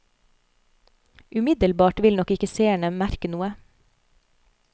Umiddelbart vil nok ikke seerne merke noe.